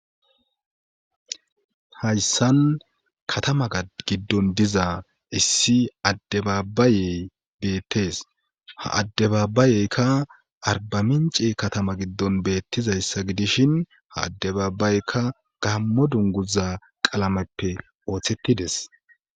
hayssan katama giddon diza issi addebaabayey beettes ha addebaabayeykka arbamince katama giddon beettizayssa gidishin ha addebaabbayekka gammo dunguza qalameppe ooththettides